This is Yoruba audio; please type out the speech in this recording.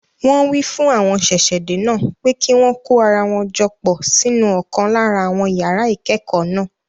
Wọn wí fún àwọn ṣẹ̀ṣẹ̀-dé náà pé kí wọn kó ara jọ pọ̀ sínú ọ̀kan lára àwọn yàrá ìkẹ́kọ̀ọ́ náà.